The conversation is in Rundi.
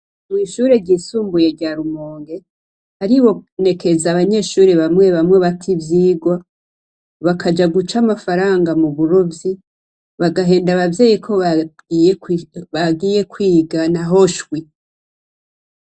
Mw'ishure ryisumbuye rya Rumonge haribonekeza abanyeshure bamwe bamwe bata ivyigwa bakaja guca amafaranga mu burovyi, bagahenda abavyeyi ko bagiye kwiga naho shwi.